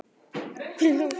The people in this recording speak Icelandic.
Hvílík sjón!